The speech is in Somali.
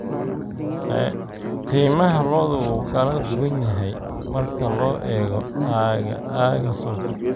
Qiimaha lo'du wuu kala duwan yahay marka loo eego aagga suuqa.